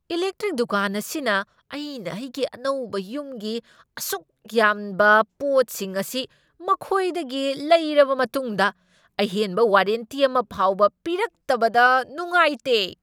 Electric ꯗꯨꯀꯥꯟ ꯑꯁꯤꯅ ꯑꯩꯅ ꯑꯩꯒꯤ ꯑꯅꯧꯕ ꯌꯨꯝꯒꯤ ꯑꯁꯨꯛ ꯌꯥꯝꯕ ꯄꯣꯠꯁꯤꯡ ꯑꯁꯤ ꯃꯈꯣꯢꯗꯒꯤ ꯂꯩꯔꯕ ꯃꯇꯨꯡꯗ ꯑꯍꯦꯟꯕ ꯋꯥꯔꯦꯟꯇꯤ ꯑꯃ ꯐꯥꯎꯕ ꯄꯤꯔꯛꯇꯕꯗ ꯅꯨꯉꯥꯢꯇꯦ꯫